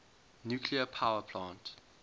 nuclear power plant